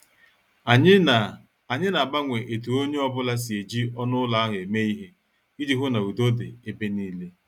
Anyị na- Anyị na- agbanwe etu onye ọ bụla si eji ọnụ ụlọ ahụ eme ihe iji hụ na udo dị ebe nile.